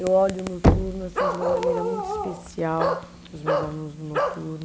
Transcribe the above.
Eu olho o noturno assim de uma maneira muito especial, os meus alunos do noturno.